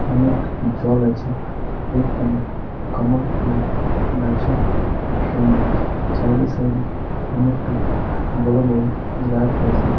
অনেক জল আছে এখানে কমল ফুলের গাছ ও আছে। সাইড এ সাইড এ অনেকটা বড় বড় গাছ আছে।